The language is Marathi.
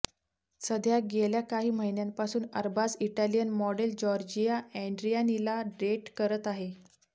सध्या गेल्या काही महिन्यांपासून अरबाज इटालियन मॉडेल जॉर्जिया अँड्रियानीला डेट करत आहे